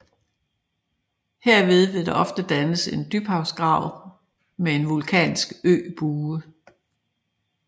Herved vil der ofte dannes en dybhavsgrav med en vulkansk øbue